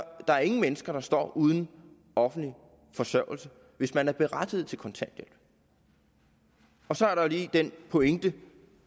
der er ingen mennesker der står uden offentlig forsørgelse hvis man er berettiget til kontanthjælp og så er der lige den pointe